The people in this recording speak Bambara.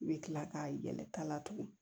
I bɛ tila k'a yɛlɛta la tugun